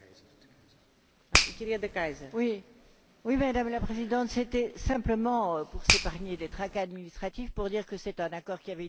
Madame la Présidente, c'était simplement pour s'épargner des tracas administratifs, pour dire que c'est un accord qui avait été conclu et que mon groupe est parfaitement d'accord avec M.